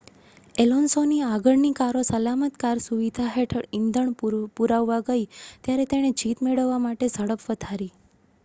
એલોન્સોની આગળની કારો સલામત કાર સુવિધા હેઠળ ઇંધણ પુરાવવા ગઈ ત્યારે તેણે જીત મેળવવા માટે ઝડપ વધારી